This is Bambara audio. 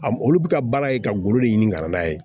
A m olu bɛ ka baara ye ka golo de ɲini ka na n'a ye